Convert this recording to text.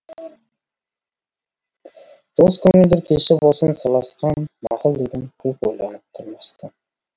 дос көңілдер кеші болсын сырласқан мақұл дедім көп ойланып тұрмастан